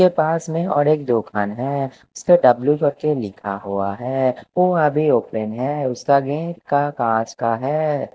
के पास में और एक दुकान है उसके डब्लू कर के लिखा हुआ है वो अभी ओपन है उसका गेट का काँच का हैं।